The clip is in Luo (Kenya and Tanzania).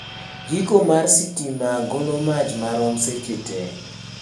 Jiko mar sitima golo mach marom seche tee